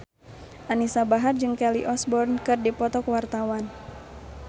Anisa Bahar jeung Kelly Osbourne keur dipoto ku wartawan